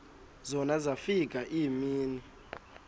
zona zafika iimini